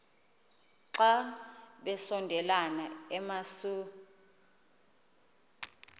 xa besondela emasuie